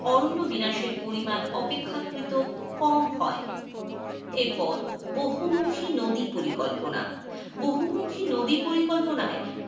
অরণ্য বিনাশের পরিমাণ অপেক্ষাকৃত কম হয়. এরপর বহুমুখী নদী পরিকল্পনা, বহুমুখী নদী পরিকল্পনায়,